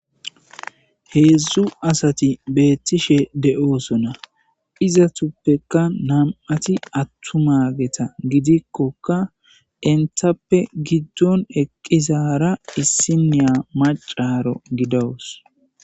Hedzu assati betishe deyosona. Izatapuke namiati atuma inttappe giddoni eqidara macca gidawusu.